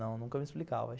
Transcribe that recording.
Não, nunca me explicava.